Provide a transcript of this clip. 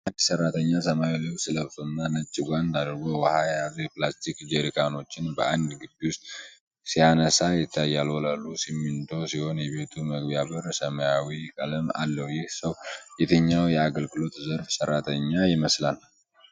አንድ ሰራተኛ ሰማያዊ ልብስ ለብሶና ነጭ ጓንት አድርጎ ውሃ የያዙ የፕላስቲክ ጀሪካኖችን በአንድ ግቢ ውስጥ ሲያነሳ ይታያል። ወለሉ ሲሚንቶ ሲሆን የቤቱ መግቢያ በር ሰማያዊ ቀለም አለው። ይህ ሰው የትኛው የአገልግሎት ዘርፍ ሰራተኛ ይመስላል?